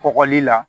Kɔgɔli la